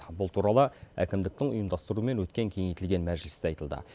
бұл туралы әкімдіктің ұйымдастыруымен өткен кеңейтілген мәжілісте айтылды